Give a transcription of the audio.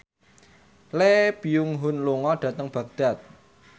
Lee Byung Hun lunga dhateng Baghdad